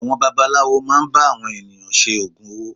Àwọn babaláwo máà ń bá àwọn ènìyàn ṣe ògùn owó.